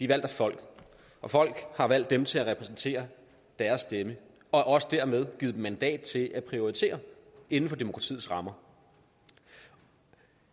valgt af folk og folk har valgt dem til at repræsentere deres stemme og også dermed givet dem mandat til at prioritere inden for demokratiets rammer